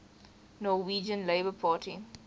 norwegian labour party